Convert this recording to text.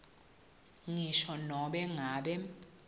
ngisho nobe ngabe